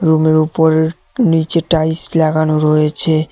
রুমের উপরের নিচের টাইলস লাগানো রয়েছে।